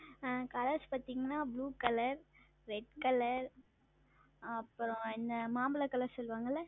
ஆஹ் Colors பாத்தீங்கன்னா Blue Color Red Color ah அப்பறம் என்ன மாம்பழம் Color சொல்லுவாங்கள்ள